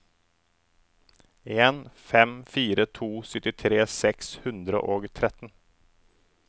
en fem fire to syttifire seks hundre og tretten